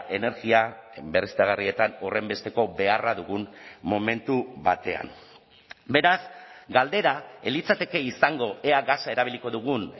energia berriztagarrietan horrenbesteko beharra dugun momentu batean beraz galdera ez litzateke izango ea gasa erabiliko dugun